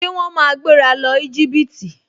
Ṣé wọ́n máa gbéra lọ Íjíbítì?